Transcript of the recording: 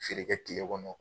Feere kɛ tile kɔnɔ